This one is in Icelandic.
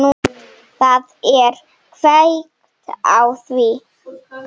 Það er kveikt á því.